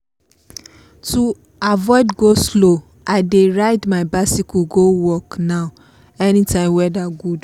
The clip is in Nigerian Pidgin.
to avoid go-slow i dey ride my bicycle go work now anytime weather good